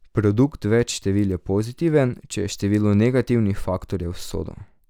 Produkt več števil je pozitiven, če je število negativnih faktorjev sodo.